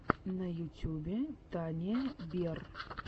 на ютьюбе тания берр